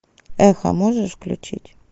эхо можешь включить